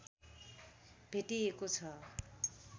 भेटिएको छ